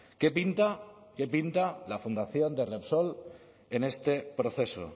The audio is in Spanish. qué pinta qué pinta la fundación de repsol en este proceso